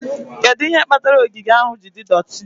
Kedu ihe kpatara ogige ahụ ji dị doti?